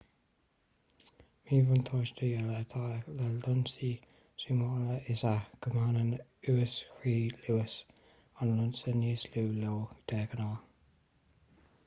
míbhuntáiste eile atá le lionsaí zúmála is ea go mbaineann uas-chró luas an lionsa níos lú leo de ghnáth